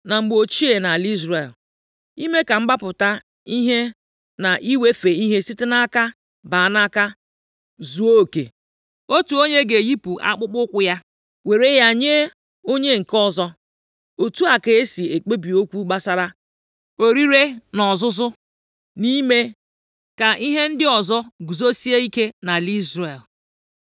Na mgbe ochie nʼala Izrel, + 4:7 \+xt Dit 25:7-10\+xt* ime ka mgbapụta ihe na iwefe ihe site nʼaka baa nʼaka zuo oke, otu onye ga-eyipụ akpụkpọụkwụ + 4:7 Gbaa mba niile dị nʼetiti ọwụwa anyanwụ gburugburu, akpụkpọụkwụ bụ ihe na-egosipụta onye nwe ihe. Mgbe mmadụ nyere onye ọzọ akpụkpọụkwụ ya, nʼihi ihe ọbụla, nke a pụtara inye ya ikike i sị, site ugbu a gawa ihe ahụ a bụrụla nke gị. \+xt Abụ 60:8; Ems 2:6; 8:6\+xt* ya were ya nye onye nke ọzọ. Otu a ka e si ekpebi okwu gbasara orire na ọzụzụ, na-ime ka ihe ndị ọzọ guzosie ike nʼala Izrel.